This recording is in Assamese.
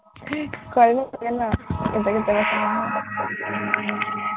কৰিব পাৰে ন,